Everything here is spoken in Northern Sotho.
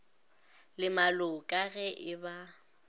le maloka ge e ba